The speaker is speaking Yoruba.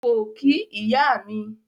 Ko ki iya mi.